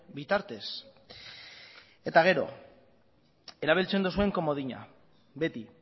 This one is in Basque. bitartez eta gero erabiltzen dozuen komodina beti